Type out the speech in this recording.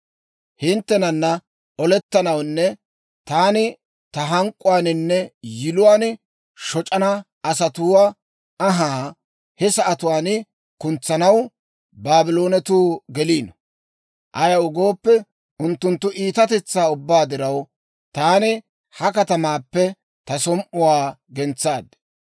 Hinttenana olettanawunne taani ta hank'k'uwaaninne yiluwaan shoc'ana asatuwaa anhaa he sa'atuwaan kuntsanaw Baabloonetuu geliino. Ayaw gooppe, unttunttu iitatetsaa ubbaa diraw, taani ha katamaappe ta som"uwaa gentsaad.